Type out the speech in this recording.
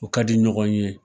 U ka di ɲɔgɔn ye.